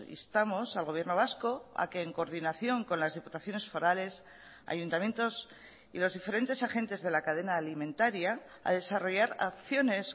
instamos al gobierno vasco a que en coordinación con las diputaciones forales ayuntamientos y los diferentes agentes de la cadena alimentaria a desarrollar acciones